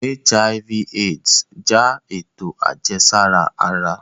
HIV/AIDS n ja eto ajẹsara ara